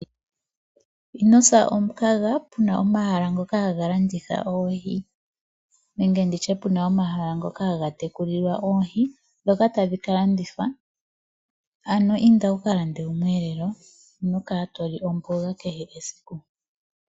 Ino sa omukaga pu na omahala ngoka haga landitha oohi nenge pu na omahala ngoka haga tekulilwa oohi ndhoka tadhi ka landithwa. Inda wu ka lande omweelelo, ino kala to li omboga kehe esiku.